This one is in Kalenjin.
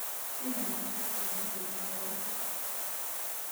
Tinye lakwet kipnotet neo